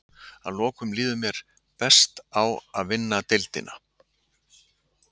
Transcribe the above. Að lokum líður mér best á að vinna deildina.